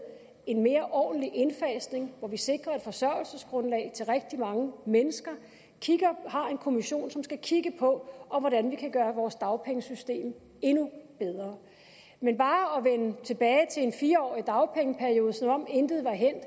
en mere ordentlig indfasning hvor vi sikrer et forsørgelsesgrundlag til rigtig mange mennesker har en kommission som skal kigge på hvordan vi kan gøre vores dagpengesystem endnu bedre men bare at en fire årig dagpengeperiode som om intet var hændt er